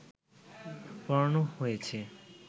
পোড়ানো হয়েছে